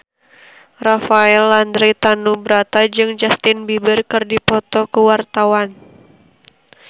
Rafael Landry Tanubrata jeung Justin Beiber keur dipoto ku wartawan